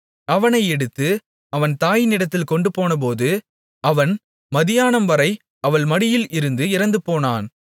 அவனை எடுத்து அவன் தாயினிடத்தில் கொண்டுபோனபோது அவன் மத்தியானம்வரை அவள் மடியில் இருந்து இறந்துபோனான்